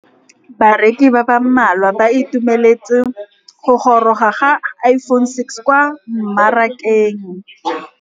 Bareki ba ba malwa ba ituemeletse go gôrôga ga Iphone6 kwa mmarakeng.